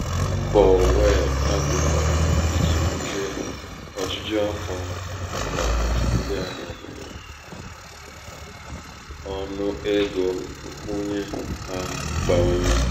)mbọ wells fagọ gbara iji bulie ojuju afọ ọnọdụ ndị ahịa mere ndị ahịa mere ka um ọnụ ego nkwunye ha bawanye.